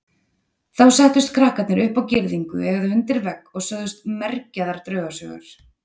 Þá settust krakkarnir upp á girðingu eða undir vegg og sögðu mergjaðar draugasögur.